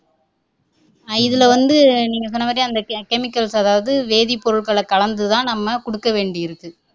இதுல வந்து நீங்க சொன்னமாதிரி அந்த chemicals அதாவது வேதிப்பொருள்களை கலந்து தான் நம்ம குடுக்க வேண்டி இருக்கு